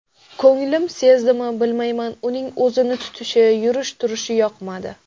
Ko‘nglim sezdimi, bilmayman, uning o‘zini tutishi, yurish-turishi yoqmadi.